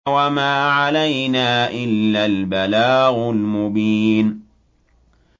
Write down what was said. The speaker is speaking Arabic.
وَمَا عَلَيْنَا إِلَّا الْبَلَاغُ الْمُبِينُ